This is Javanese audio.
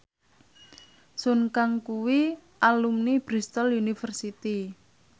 Sun Kang kuwi alumni Bristol university